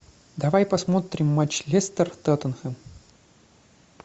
давай посмотрим матч лестер тоттенхэм